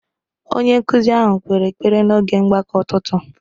Onye nkụzi ahụ kpere ekpere n’oge mgbakọ ụtụtụ